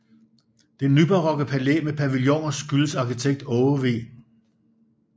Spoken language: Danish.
Det nybarokke palæ med pavilloner skyldes arkitekt Aage V